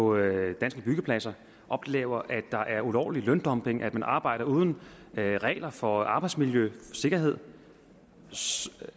og byggepladser oplever at der er ulovlig løndumping at man arbejder uden regler for arbejdsmiljø og sikkerhed